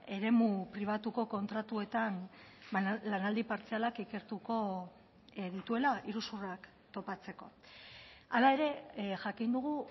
eremu pribatuko kontratuetan lanaldi partzialak ikertuko dituela iruzurrak topatzeko hala ere jakin dugu